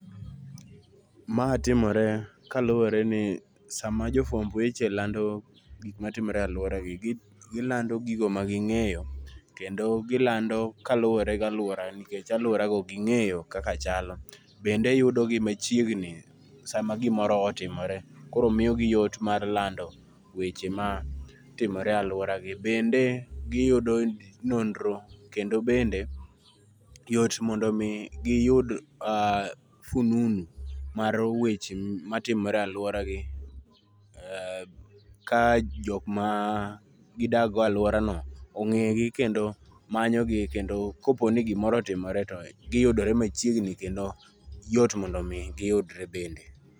Ma timore kaluwore ni sama jofwamb weche lando gik ma timore e alworagi, gi gilando gigo magingéyo, kendo gilando kaluwore gi alwora nikech alworago gingéyo kaka chalo. Bende i yudo gi machiegni sama gimoro otimore. Koro miyo gi yot mar lando weche matimore e alworagi. Bende giyudo nonro, kendo bende yot mondo omi giyud fununu mar weche matimore e alworagi. Ka jok ma gidak go e alworano ongégi, kendo manyogi, kendo ka po ni gimoro otimore to giyudore machiegni, kendo yot mondo giyudre bende.